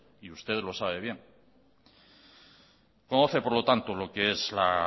y usted lo sabe bien conoce por lo tanto lo que es la